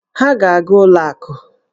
Ha ga-aga ụlọ akụ